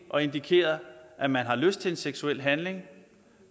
og indikeret at man har lyst til en seksuel handling